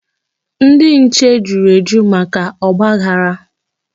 Ndị nche juru eju maka ọgbaghara.